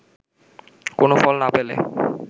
কোন ফল না পেলে